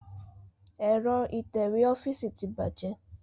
Ẹ̀rọ itẹ̀wẹ́ ọ́fíìsì tí bàjẹ́